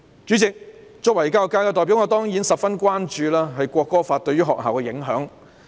主席，作為教育界的代表，我當然十分關注《條例草案》對學校的影響。